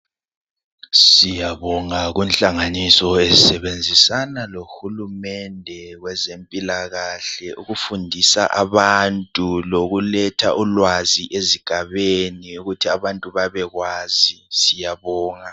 Siyabonga kunhlanganiso ezisebenzisana lohulumende kwezempilakahle ukufundisa abantu lokuletha ulwazi ezigabeni ukuthi abantu babekwazi. Siyabonga.